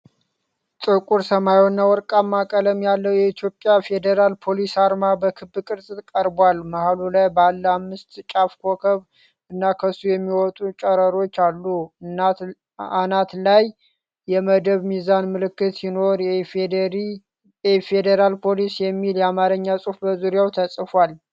ጥቁር ሰማያዊና ወርቃማ ቀለም ያለው የኢትዮጵያ ፌደራል ፖሊስ አርማ በክብ ቅርፅ ቀርቧል። መሀሉ ላይ ባለ አምስት ጫፍ ኮከብ እና ከሱ የሚወጡ ጨረሮች አሉ። አናት ላይ የመደብ ሚዛን ምልክት ሲኖር 'የኢፌዴሪ ፌደራል ፖሊስ' የሚል የአማርኛ ጽሑፍ በዙሪያው ተጽፏል።